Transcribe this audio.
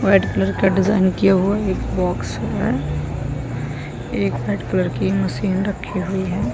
White colour का design किया हुआ है एक बॉक्स है एक वाइट कलर की मशीन रखी हुई है ।